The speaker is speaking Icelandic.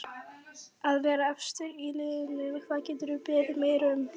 Að vera efstir í riðlinum, hvað geturðu beðið meira um?